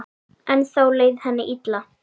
Ennþá leið henni illa.